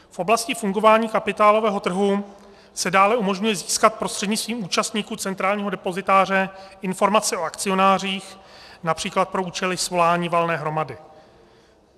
V oblasti fungování kapitálového trhu se dále umožňuje získat prostřednictvím účastníků centrálního depozitáře informace o akcionářích například pro účely svolání valné hromady.